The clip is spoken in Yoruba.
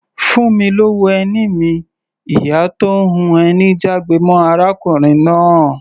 "Fún mi lówó ẹni mi!", ìyá tó ń hun ẹni jágbe mọ́ arákùnrin náà.